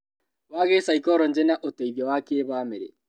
Wa gĩcaikoronjĩ na ũteithio wa kĩbamĩrĩ